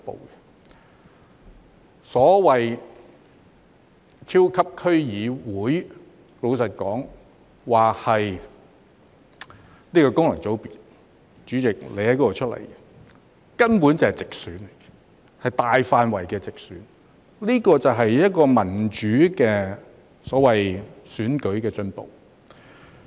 老實說，所謂的超級區議會，雖然說是功能界別——代理主席你是由此界別選出的——但其實根本便是直選，是大範圍的直選，這便是民主選舉的進步。